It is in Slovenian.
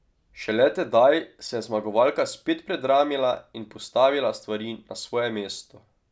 Šele tedaj se je zmagovalka spet predramila in postavila stvari na svoje mesto.